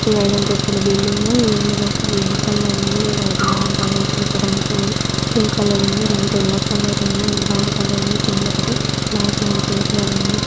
ఇది ఐదంతస్తుల బిల్డింగ్ .ఇందులో గ్రీన్ కలర్ ఉంది. పింక్ కలర్ ఉంది. లైట్ ఎల్లో కలర్ ఉంది. బ్రౌన్ కలర్ ఉంది. కిందొకటి బైక్ నిలిపివేయబడి ఉంది.